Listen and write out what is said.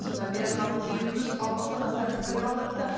содан бері халық екі жүз алпыстан астам пікір қалдырыпты